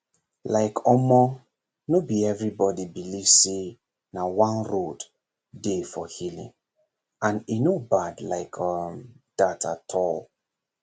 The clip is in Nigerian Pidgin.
like omor no be everybody believe say na one road dey for healing and e no bad like um that at all